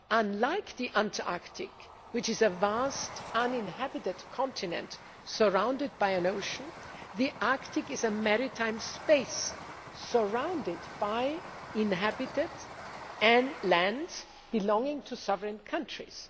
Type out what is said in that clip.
Unlike the Antarctic, which is a vast, uninhabited continent surrounded by an ocean, the Arctic is a maritime space, surrounded by inhabited land belonging to sovereign countries.